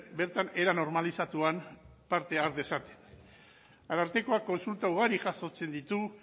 bertan era normalizatuan parte har dezaten arartekoak kontsulta ugari jasotzen ditu